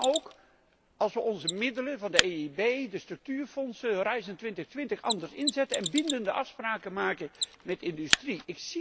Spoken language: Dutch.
En dat kan ook als we onze middelen van de EIB, de structuurfondsen, Horizon2020, anders inzetten en bindende afspraken maken met de industrie.